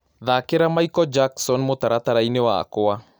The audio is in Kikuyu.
Thakĩra Michael Jackson mũtarataraĩnĩ wakwa